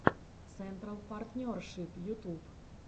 централ партнершип ютуб